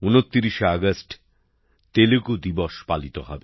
২৯শে August Telugu দিবস পালিত হবে